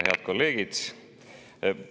Head kolleegid!